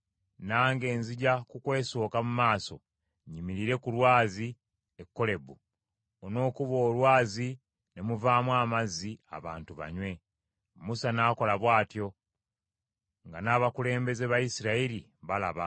Nange nzija kukwesooka mu maaso nyimirire ku lwazi e Kolebu, onookuba olwazi ne muvaamu amazzi abantu banywe.” Musa n’akola bw’atyo nga n’abakulembeze ba Isirayiri balaba.